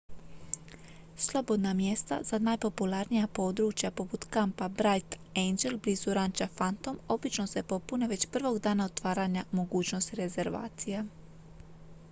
slobodna mjesta za najpopularnija područja poput kampa bright angel blizu ranča phantom obično se popune već prvog dana otvaranja mogućnosti rezervacija